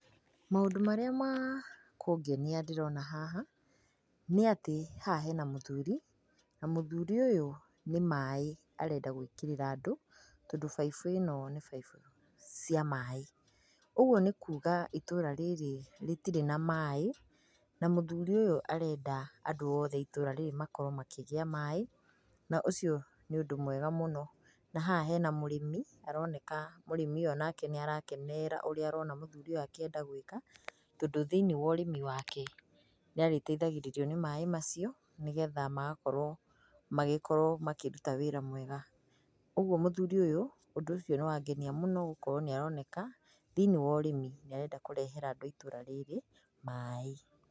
Maũndũ marĩa makũngenia ndĩrona haha nĩ atĩ haha hena mũthuri na mũthuri ũyũ nĩ maĩ arenda gwĩkĩrĩra andũ, tondũ baibo ĩno nĩ baibo ya maĩ. Ũguo nĩ kuga itũũra rĩrĩ rĩtirĩ na maĩ na mũthuri ũyũ arenda andũ othe a itũũra rĩrĩ makorwo makĩgĩa na maĩ, na haha harĩ na mũrĩmi ũroneka mũrĩmi ũyũ nĩ aroneka agĩkenio nĩ ũrĩa mũthuri ũyũ arenda gwĩka tondũ thĩinĩ wa ũrĩmi wake na arĩ teithagĩrĩrio nĩ maĩ macio, nĩgetha agĩkorwo makĩruta wega, ũguo mũthuri ũyũ ũndũ ũcio angenia mũno gũkorwo nĩ aroneka thĩinĩ wa ũrĩmi nĩ arenda kũreha andũ thĩini wa itũũra maĩ.